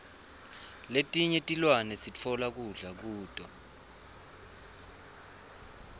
letinye tilwane sitfola kudla kuto